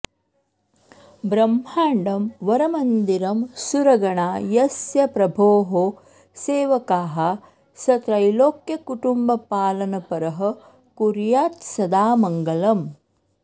ब्रह्माण्डं वरमन्दिरं सुरगणा यस्य प्रभोः सेवकाः स त्रैलोक्यकुटुम्बपालनपरः कुर्यात्सदा मङ्गलम्